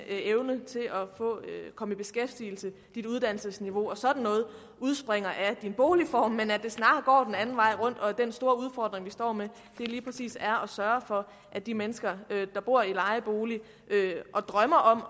komme i beskæftigelse ens uddannelsesniveau og sådan noget udspringer af ens boligform men at det snarere går den anden vej rundt og at den store udfordring vi står med lige præcis er at sørge for at de mennesker der bor i lejebolig og drømmer om at